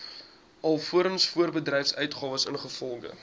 alvorens voorbedryfsuitgawes ingevolge